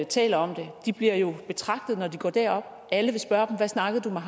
taler om det de bliver jo betragtet når de går derop alle vil spørge dem hvad snakkede du med